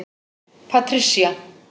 Patricia